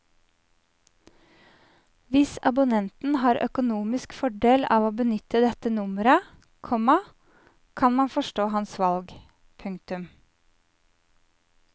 Hvis abonnenten har økonomisk fordel av å benytte dette nummeret, komma kan man forstå hans valg. punktum